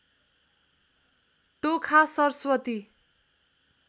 Tokha Saraswati